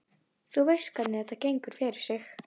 Þú veist hvernig þetta gengur fyrir sig.